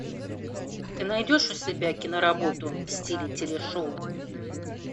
ты найдешь у себя киноработу в стиле телешоу